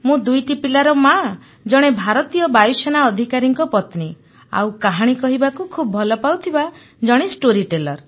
ମୁଁ ଦୁଇଟି ପିଲାର ମା ଜଣେ ଭାରତୀୟ ବାୟୁସେନା ଅଧିକାରୀଙ୍କ ପତ୍ନୀ ଆଉ କାହାଣୀ କହିବାକୁ ଖୁବ୍ ଭଲ ପାଉଥିବା ଜଣେ ଷ୍ଟୋରୀ ଟେଲର